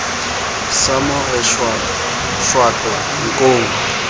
sa mo re shwato nkong